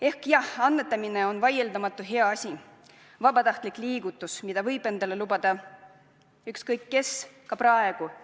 Ehk jah, annetamine on vaieldamatult hea asi, vabatahtlik liigutus, mida võib endale lubada ükskõik kes, ka praegu.